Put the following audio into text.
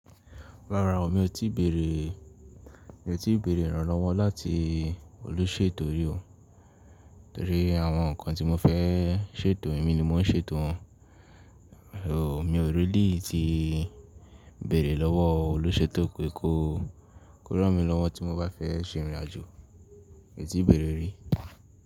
Rárá o, mi ò tí bẹ̀rẹ̀, mi ò tí bẹ̀rẹ̀ ìrànlọ́wọ́ láti olóṣèlú eto rí o. Torí àwọn ǹkan tí mo fẹ́ ṣètò, èmi ni mò ń ṣe ètò wọn. O, mi ò rí líì tí bẹ̀rẹ̀ lọ́wọ́ olóṣèto pé kó ràn mí lọ́wọ́ tí mo bá fẹ́ ṣe ìrìnàjò. Mi ò tí bẹ̀rẹ̀ rí.